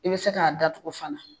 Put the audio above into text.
I bɛ se k'a datugu fana.